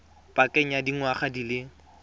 pakeng ya dingwaga di le